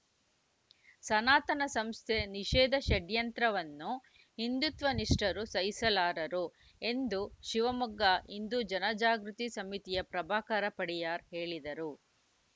ಸನಾತನ ಸಂಸ್ಥೆ ನಿಷೇಧ ಷಡ್ಯಂತ್ರವನ್ನು ಹಿಂದುತ್ವ ನಿಷ್ಠರು ಸಹಿಸಲಾರರು ಎಂದು ಶಿವಮೊಗ್ಗ ಹಿಂದೂ ಜನಜಾಗೃತಿ ಸಮಿತಿಯ ಪ್ರಭಾಕರ ಪಡಿಯಾರ್‌ ಹೇಳಿದರು